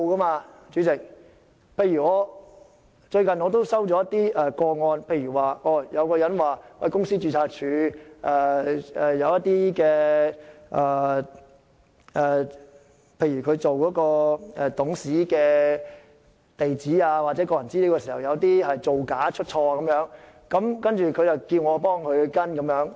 我最近也接獲一些個案，例如有人指公司註冊處記錄的一些董事地址或個人資料有造假或出錯的情況，要求我跟進。